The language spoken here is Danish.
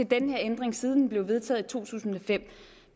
den her ændring siden den blev vedtaget i to tusind og fem